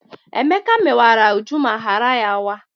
Emeka mewara Uju ma ghara ya waa.